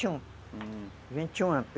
vinte e um, uhum, vinte e um anos.